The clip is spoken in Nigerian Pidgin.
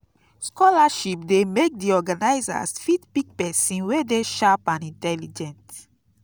scholarship de make di organisers fit pick persin wey de sharp and intelligent